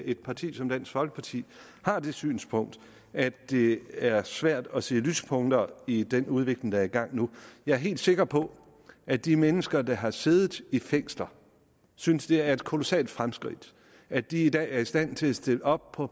et parti som dansk folkeparti har det synspunkt at det er svært at se lyspunkter i den udvikling der er i gang nu jeg er helt sikker på at de mennesker der har siddet i fængsler synes det er et kolossalt fremskridt at de i dag er i stand til at stille op for